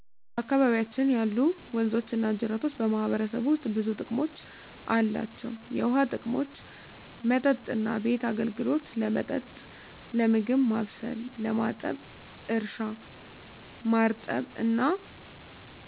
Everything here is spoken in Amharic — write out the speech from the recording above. በአካባቢያችን ያሉ ወንዞችና ጅረቶች በማህበረሰቡ ውስጥ ብዙ ጥቅሞች አላቸው፣ የውሃ ጥቅሞች መጠጥና ቤት አገልግሎት – ለመጠጥ፣ ለምግብ ማብሰል፣ ለማጠብ እርሻ – ማርጠብ እና